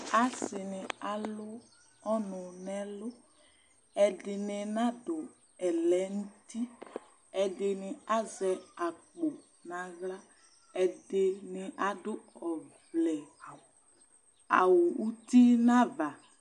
Asɩnɩ alʊ ɔnʊ nʊ ɛlʊ ɛdɩnɩ nadu ɛlɛnʊtɩ ɛdɩnɩ azɛ akpo nʊ aɣla ɛdɩnɩ adʊ awʊ ʊtʊ nʊ ava